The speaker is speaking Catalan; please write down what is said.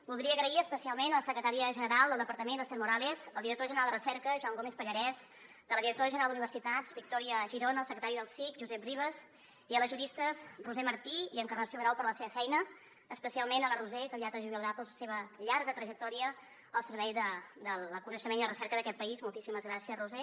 voldria agrair especialment a la secretària general del departament esther morales al director general de recerca joan gómez pallarès a la directora general d’universitats victòria girona al secretari del cic josep ribes i a les juristes roser martí i encarnació grau per la seva feina especialment la roser que aviat es jubilarà per la seva llarga trajectòria al servei del coneixement i la recerca d’aquest país moltíssimes gràcies roser